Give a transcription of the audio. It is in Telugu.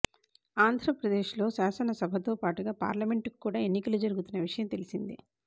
ఆంధ్రప్రదేశ్ లో శాసనసభతో పాటుగా పార్లమెంట్ కు కూడా ఎన్నికలు జరుగుతున్న విషయం తెలిసిందే